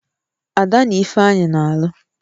Ada na Ifeanyị na-alụ